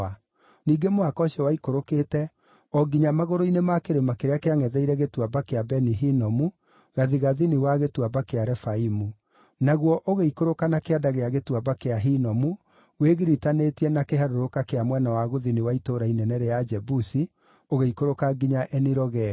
Ningĩ mũhaka ũcio waikũrũkĩte o nginya magũrũ-inĩ ma kĩrĩma kĩrĩa kĩangʼetheire Gĩtuamba kĩa Beni-Hinomu, gathigathini wa Gĩtuamba kĩa Refaimu. Naguo ũgĩikũrũka na kĩanda gĩa Gĩtuamba kĩa Hinomu, wĩgiritanĩtie na kĩharũrũka kĩa mwena wa gũthini wa itũũra inene rĩa Ajebusi, ũgĩikũrũka nginya Eni-Rogeli.